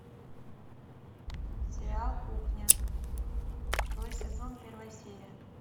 сериал кухня второй сезон первая серия